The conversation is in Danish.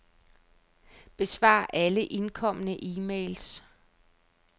Besvar alle indkomne e-mails.